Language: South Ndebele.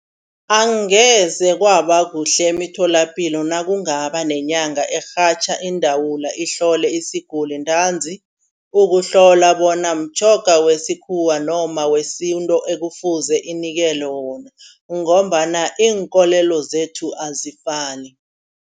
Angeze kwaba kuhle emitholapilo nakungaba nenyanga erhatjha iindawula ihlole isiguli ntanzi. Ukuhlola bona mtjhoga wesikhuwa noma wesintu ekufuze sinikelwe wona ngombana inkolelo zethu azifani.